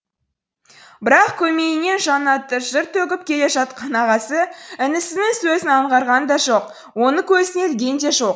бірақ көмейінен жаннаты жыр төгіп келе жатқан ағасы інісінің сөзін аңғарған да жоқ оны көзіне ілген де жоқ